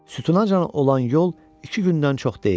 Sütunacan olan yol iki gündən çox deyildi.